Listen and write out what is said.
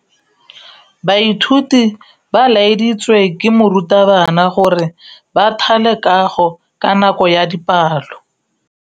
Baithuti ba laeditswe ke morutabana gore ba thale kagô ka nako ya dipalô.